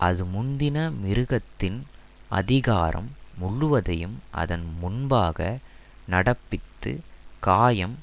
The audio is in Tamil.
அது முந்தின மிருகத்தின் அதிகாரம் முழுவதையும் அதன் முன்பாக நடப்பித்து காயம்